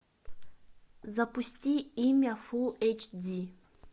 запусти имя фул эйч ди